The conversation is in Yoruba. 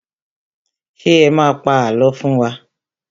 Ṣé ẹ má a pa àlọ́ fún wa?